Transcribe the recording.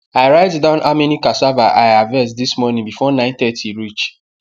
i write down how many cassava i harvest this morning before 930 reach